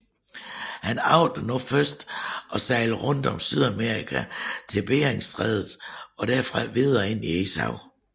Han agtede nu først at sejle rundt om Sydamerika til Beringstrædet og derfra videre ind i Ishavet